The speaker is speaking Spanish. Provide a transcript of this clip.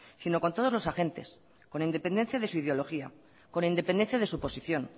sino con todos los agentes con independencia de su ideología con independencia de su posición